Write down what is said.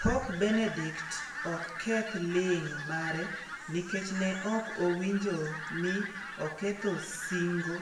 Pop Benedict ok keth ling' mare nikech ne ok owinjo ni oketho sinngo